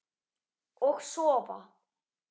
Og sofa.